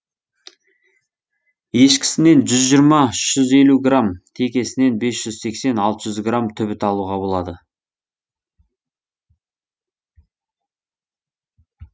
ешкісінен жүз жиырма үш жүз елу грамм текесінен бес жүз сексен алты жүз грамм түбіт алуға болады